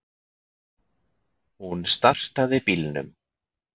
Hún startaði bílnum.